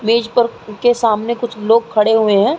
Bridge पर के सामने कुछ लोग खड़े हुए हैं।